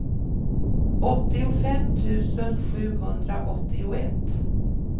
åttiofem tusen sjuhundraåttioett